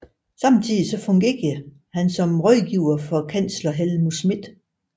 Samtidig fungerede han som rådgiver for kansler Helmut Schmidt